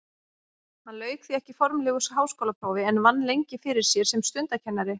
Hann lauk því ekki formlegu háskólaprófi en vann lengi fyrir sér sem stundakennari.